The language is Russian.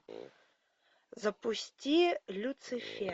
запусти люцифер